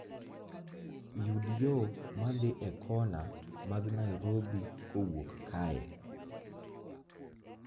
Yud yo ma dhi e kona mag Nairobi kowuok kae